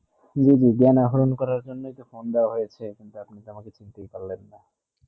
জী জী জ্ঞান অর্জন করা জন্য তো phone দেবা হয়েছে যে আপনি আমাকে চিনতে ই পারলে না